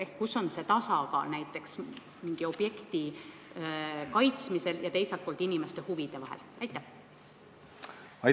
Ehk siis: kus on see tasakaal mingi objekti kaitsmise ja teiselt poolt inimeste huvide kaitsmise vahel?